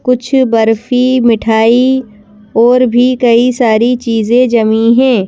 कुछ बर्फी मिठाई और भी कई सारी चीजें जमी हैं।